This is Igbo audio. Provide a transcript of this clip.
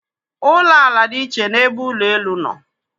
Ụlọ ala dị iche n'ebe ụlọ elu nọ.